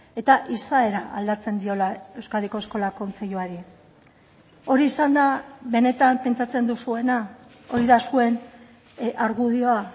eta izaera aldatzen diola euskadiko eskola kontseiluari hori izan da benetan pentsatzen duzuena hori da zuen argudioa